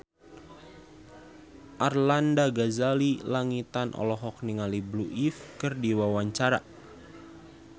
Arlanda Ghazali Langitan olohok ningali Blue Ivy keur diwawancara